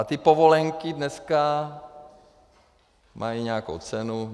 A ty povolenky dneska mají nějakou cenu.